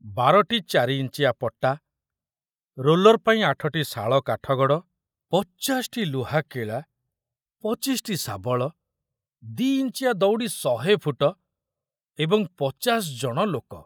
ବାରଟି ଚାରି ଇଞ୍ଚିଆ ପଟା, ରୋଲର ପାଇଁ ଆଠଟି ଶାଳ କାଠଗଡ଼, ପଚାଶଟି ଲୁହା କିଳା, ପଚିଶଟି ଶାବଳ, ଦି ଇଞ୍ଚିଆ ଦଉଡି଼ ଶହେ ଫୁଟ, ଏବଂ ପଚାଶ ଜଣ ଲୋକ।